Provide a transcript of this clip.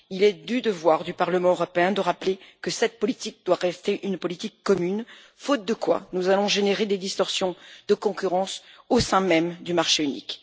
Il est du devoir du Parlement européen de rappeler que cette politique doit rester une politique commune, faute de quoi nous allons générer des distorsions de concurrence au sein même du marché unique.